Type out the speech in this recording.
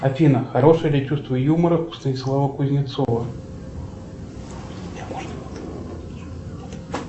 афина хорошее ли чувство юмора у станислава кузнецова